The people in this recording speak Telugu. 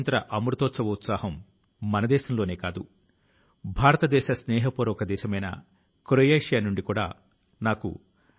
వారు ఎంతో అందం గా భావోద్వేగంతో వందే మాతరమ్ ను ఆలాపించిన తీరు అద్భుతం గా ప్రశంసనీయం గా ఉంది